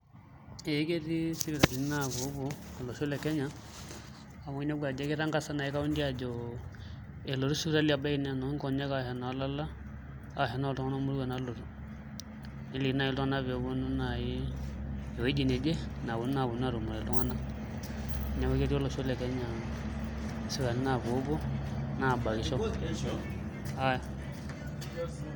Ee ketii sipitalini naapuopuo olosho le Kenya amu inepu ajo kitangasa naai kaunti ajo elotu sipitalini ebaiki naa enoonkonyek ashu enoolala arashu enoltung'anak moruak nalotu nelekini naai iltung'anak pee eponu naai ewueji neje naponu naai aponu aatumore iltung'anak, neeku ketii olosho le Kenya sipitalini naapuopuo naabkisho.